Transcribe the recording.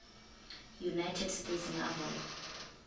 united states naval